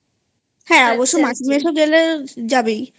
হ্যাঁ অবশ্য মাসি মেশো গেলে যাবেই